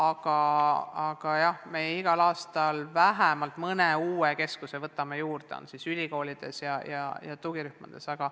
Igal aastal me võtame juurde vähemalt mõne uue keskuse ülikoolides ja tugirühmades.